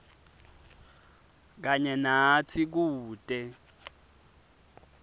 kanye natsi kute